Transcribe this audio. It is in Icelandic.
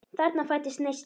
Þarna fæddist neisti.